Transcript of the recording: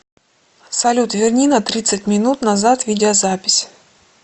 салют верни на тридцать минут назад видеозапись